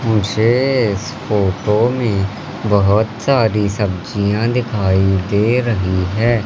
मुझे इस फोटो में बहोत सारी सब्जियां दिखाई दे रही है।